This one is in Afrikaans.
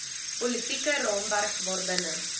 politieke raamwerk waarbinne